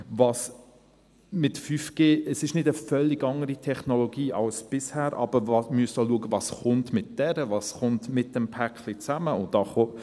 5G ist nicht eine völlig andere Technologie als bisher, aber wir müssen schauen, was mit ihr und zusammen mit diesem «Päckli» alles kommt.